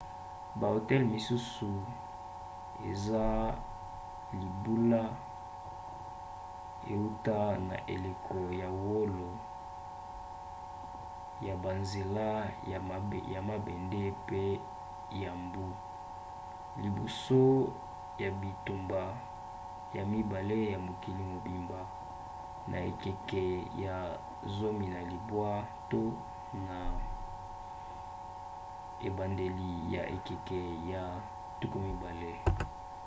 bahotel misusu eza libula euta na eleko ya wolo ya banzela ya mabende mpe ya mbu; liboso ya bitumba ya mibale ya mokili mobimba na ekeke ya 19 to na ebandeli ya ekeke ya 20